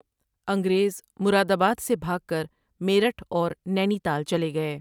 انگریز، مرادآباد سے بھاگ کر میرٹھ اور نینی تال چلے گئے۔